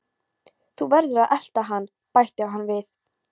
Þú verður að elta hann bætti hann við.